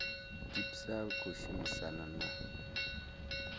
dpsa u tshi khou shumisana